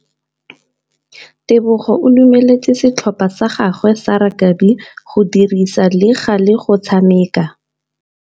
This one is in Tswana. Tebogô o dumeletse setlhopha sa gagwe sa rakabi go dirisa le galê go tshameka.